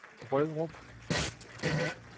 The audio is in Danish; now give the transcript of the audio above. Brørup